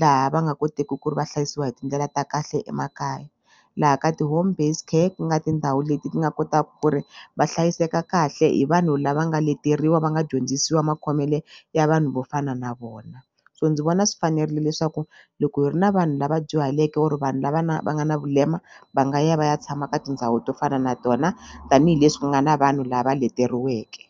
laha va nga koteki ku ri va hlayisiwa hi tindlela ta kahle emakaya laha ka ti-home based care ku nga tindhawu leti ti nga kotaku ku ri va hlayiseka kahle hi vanhu lava nga leteriwa va nga dyondzisiwa makhomele ya vanhu ni vo fana na vona so ndzi vona swi fanerile leswaku loko hi ri na vanhu lava dyuhaleke or vanhu lava na va nga na vulema va nga ya va ya tshama ka tindhawu to fana na tona tanihileswi ku nga na vanhu lava leteriweke.